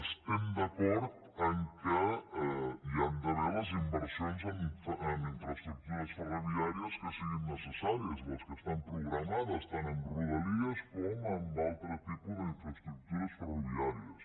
estem d’acord que hi han d’haver les inversions en infraestructures ferroviàries que siguin necessàries les que estan programades tant en rodalies com en altre tipus d’infraestructures ferroviàries